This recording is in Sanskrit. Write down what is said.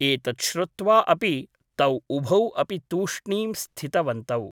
एतत् श्रुत्वा अपि तौ उभौ अपि तूष्णीं स्थितवन्तौ ।